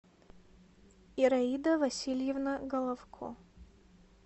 ираида васильевна головко